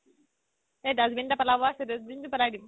এই dustbin এটা পেলাব আছে dustbin তো পেলাই দিম